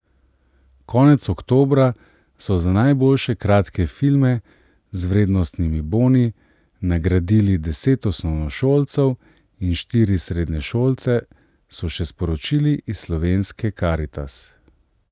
Konec oktobra so za najboljše kratke filme z vrednostnimi boni nagradili deset osnovnošolcev in štiri srednješolce, so še sporočili iz Slovenske karitas.